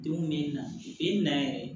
Denw bɛ na i na yɛrɛ